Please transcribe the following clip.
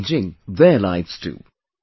He is changing their lives too